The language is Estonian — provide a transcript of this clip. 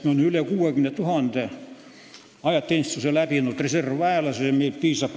Meil on üle 60 000 ajateenistuse läbinud reservväelase, meil on mehi piisavalt.